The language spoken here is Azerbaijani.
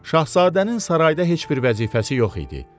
Şahzadənin sarayda heç bir vəzifəsi yox idi.